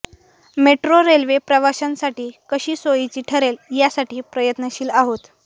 metro railway प्रवाशांसाठी कशी सोयीची ठरेल यासाठी प्रयत्नशील आहोत